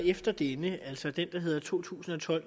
efter denne altså den der hedder to tusind og tolv